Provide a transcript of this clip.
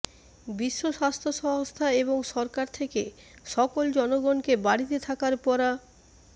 বিশ্ব স্বাস্থ্য সংস্থা এবং সরকার থেকে সকল জনগণকে বাড়িতে থাকার পরা